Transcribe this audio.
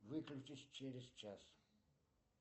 выключись через час